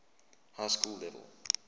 high school level